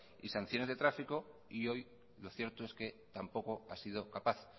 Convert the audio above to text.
y sanciones de tráfico y hoy lo cierto es que tampoco ha sido capaz